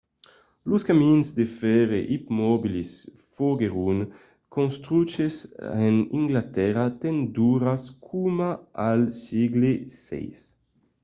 los camins de fèrre ipomobils foguèron construches en anglatèrra tant d'ora coma al sègle xvi